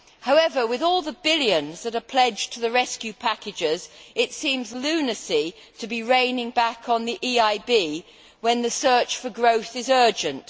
However, with all the billions that are pledged to the rescue packages, it seems lunacy to be reining back on the EIB when the search for growth is urgent.